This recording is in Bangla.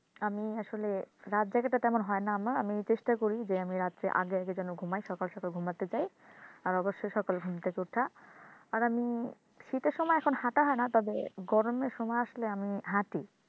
আমি আসলে রাত জাগাটা তেমন হয় না আমার। আমি চেষ্টা করি যে আমি রাত্রে আগে আগে যেন ঘুমায় সকাল সকাল ঘুমাতে চাই আর অবশ্যই সকালে ঘুম থেকে ওঠা আর আমি শীতের সময় এখন হাঁটা হয় না তবে গরমের সময় আসলে আমি হাঁটি